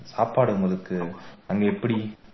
சாப்பாடு உங்களுக்கு அங்க எப்படி